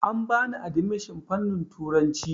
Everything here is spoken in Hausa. An bani adimishon fanin turanci